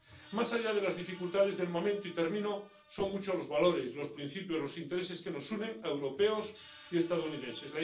Más allá de las dificultades del momento —y termino—, son muchos los valores, los principios y los intereses que nos unen a europeos y estadounidenses.